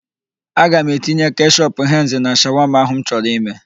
Aga m etinye keshọp henz na shawama ahụ m chọrọ ime.